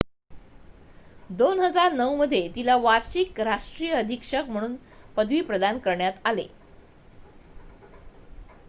2009 मध्ये तिला वार्षिक राष्ट्रीय अधीक्षक म्हणून पदवी प्रदान करण्यात आले